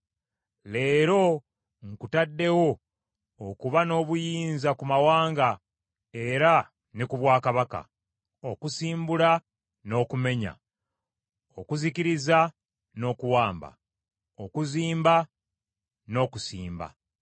Leero nkutaddewo okuba n’obuyinza ku mawanga era ne ku bwakabaka. Okusimbula n’okumenya, okuzikiriza n’okuwamba; okuzimba n’okusimba.”